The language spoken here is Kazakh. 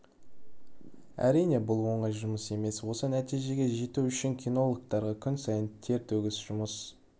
әрине бұл оңай жұмыс емес осы нәтижеге жету үшін кинологтарға күн сайын тер төгіп жұмыс